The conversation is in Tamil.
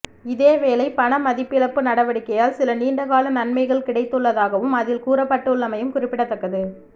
இதேவேளை பண மதிப்பிழப்பு நடவடிக்கையால் சில நீண்ட கால நன்மைகள் கிடைத்துள்ளதாகவும் அதில் கூறப்பட்டுள்ளமையும் குறிப்பிடத்தக்கது